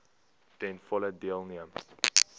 ten volle deelneem